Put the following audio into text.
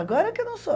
Agora que eu não sou.